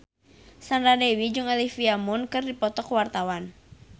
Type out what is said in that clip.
Sandra Dewi jeung Olivia Munn keur dipoto ku wartawan